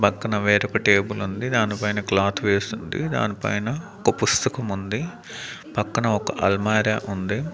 పక్కన వేరొక టేబులుంది దాని పైన క్లాత్ వేసి ఉంది దాని పైన ఒక పుస్తకముంది పక్కన ఒక అల్మారా ఉంది.